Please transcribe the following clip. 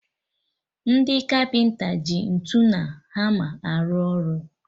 Ndị kapịnta ji ntụ na hama arụ ọrụ